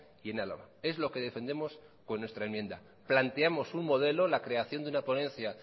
y en álava es lo que defendemos con nuestra enmienda planteamos un modelo la creación de una ponencia